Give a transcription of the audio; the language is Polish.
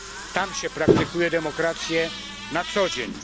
Tam się praktykuje demokrację na co dzień.